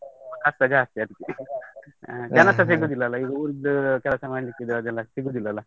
ಕಸ್ಟ ಜಾಸ್ತಿ ಅದಿಕ್ಕೆ, ಕಸ್ಟ ಜಾಸ್ತಿ ಅದಿಕ್ಕೆ ಜನಸ ಸಿಗುದಿಲ್ಲ ಅಲ್ಲ, ಈಗ wood ಕೆಲಸ ಮಾಡ್ಲಿಕ್ಕೆ ಇದ್ರೆ ಅದೆಲ್ಲ ಸಿಗುದಿಲ್ಲ ಅಲ್ಲ.